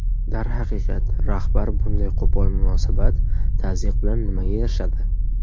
Darhaqiqat, rahbar bunday qo‘pol munosabat, tazyiq bilan nimaga erishadi?